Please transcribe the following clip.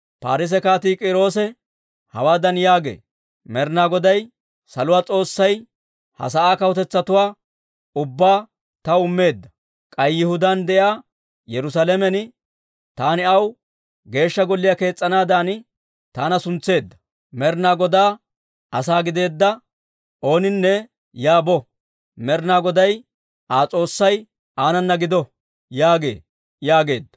«Parsse Kaatii K'iiroosi hawaadan yaagee; ‹Med'inaa Goday, saluwaa S'oossay ha sa'aa kawutetsatuwaa ubbaa taw immeedda; k'ay Yihudaan de'iyaa Yerusaalamen taani aw Geeshsha Golliyaa kees's'anaadan taana suntseedda. Med'inaa Godaa asaa gideedda ooninne yaa bo. Med'inaa Goday Aa S'oossay aanana gido!› yaagee» yaageedda.